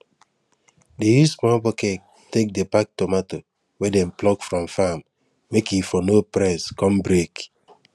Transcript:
dey use small bucket take dey pack tomato wey dem pluck from farm make e for no press con break